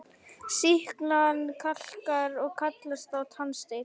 Sýklan kalkar og kallast þá tannsteinn.